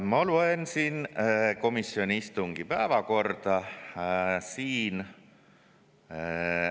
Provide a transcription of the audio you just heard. Ma loen komisjoni istungi.